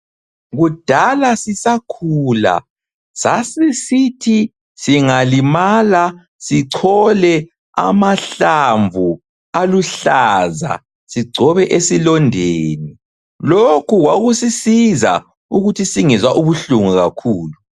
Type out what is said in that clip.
Kudala sisakhula sasisithi singalimala sichole amahlamvu aluhlaza sigcobe esilondeni. Lokhu kwakusisiza ukuthi singezwa ubuhlungu kakhulu.